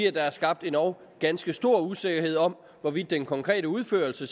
er der skabt endog ganske stor usikkerhed om hvorvidt den konkrete udførelse